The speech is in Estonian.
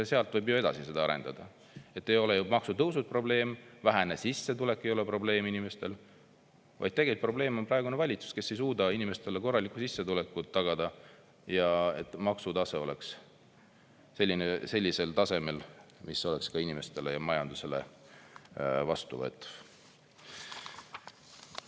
Sealt võib ju edasi arendada: ei ole ju maksutõusud probleem, vähene sissetulek ei ole probleem inimestel, vaid tegelik probleem on praegune valitsus, kes ei suuda inimestele korralikku sissetulekut tagada, et maksutase oleks selline, mis oleks ka inimestele ja majandusele vastuvõetav.